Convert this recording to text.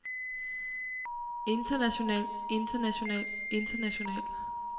international international international